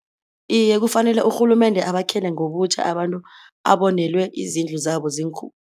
Iye kufanele urhulumende abakhele ngobutjha abantu abonelwe izindlu zabo